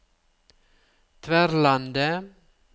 Tverlandet